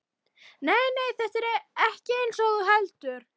Nei, nei, þetta er ekkert eins og þú heldur.